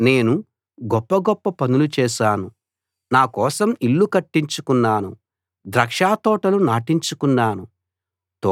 నేను గొప్ప గొప్ప పనులు చేశాను నా కోసం ఇళ్ళు కట్టించుకున్నాను ద్రాక్షతోటలు నాటించుకున్నాను